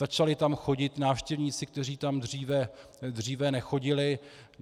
Začali tam chodit návštěvníci, kteří tam dříve nechodili.